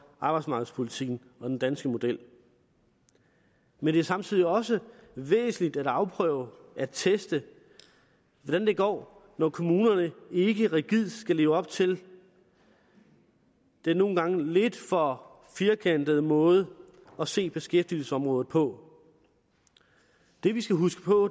arbejdsmarkedspolitikken og den danske model men det er samtidig også væsentligt at afprøve at teste hvordan det går når kommunerne ikke rigidt skal leve op til den nogle gange lidt for firkantede måde at se beskæftigelsesområdet på det vi skal huske på